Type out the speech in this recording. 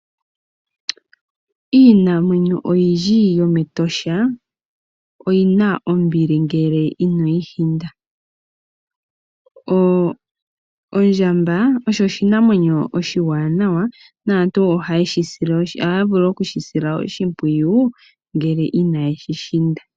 Iinamwenyo oyindji yomEtosha oyi na ombili ngele ino yi hinda. Ondjamba osho oshinamwenyo oshiwanawa naantu ohaya vulu okushi sila oshimpwiyu ngele inaye shi hinda.